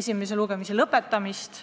esimese lugemise lõpetamist.